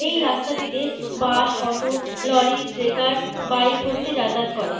এই রাস্তাটিতে bus auto lorry টেকার বাইক প্রভৃতি যাতায়াত করে।